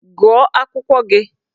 Gụọ akwụkwọ gị!